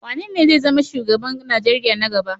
Wanene zai zama shugaban Najeriya na gaba?